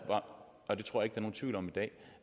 om